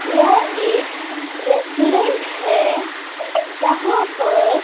यह एक रेस्टोरेंट है यहां पर--